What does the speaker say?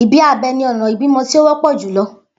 Ibi abẹ ni ọna ibimọ ti o wọpọ julọ.